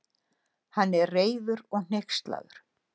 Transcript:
Hann er reiður og hneykslaður.